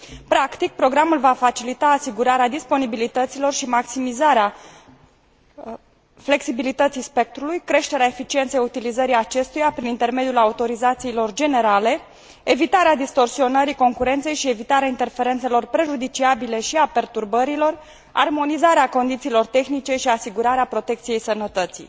Practic, programul va facilita asigurarea disponibilităților și maximizarea flexibilității spectrului, creșterea eficienței utilizării acestuia prin intermediul autorizațiilor generale, evitarea distorsionării concurenței și evitarea interferențelor prejudiciabile și a perturbărilor, armonizarea condițiilor tehnice și asigurarea protecției sănătății.